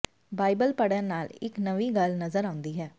Bible ਪੜ੍ਹਨ ਨਾਲ ਇਕ ਨਵੀਂ ਗੱਲ ਨਜ਼ਰ ਆਉਂਦੀ ਹੈ